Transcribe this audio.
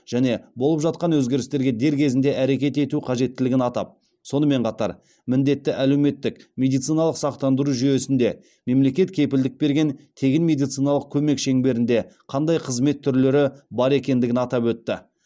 және болып жатқан өзгерістерге дер кезінде әрекет ету қажеттілігін атап сонымен қатар міндетті әлеуметтік медициналық сақтандыру жүйесінде мемлекет кепілдік берген тегін медициналық көмек шеңберінде қандай қызмет түрлері бар екендігін атап өтті